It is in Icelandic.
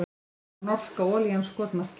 Var norska olían skotmarkið